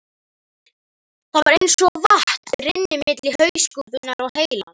Það var eins og vatn rynni milli hauskúpunnar og heilans.